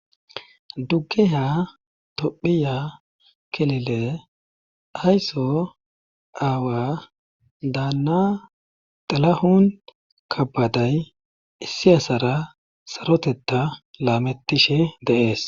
dugge ha tophiya kelile ayso aawa daanna xalahun kabaday issi asara sarotetta laamettishe deees.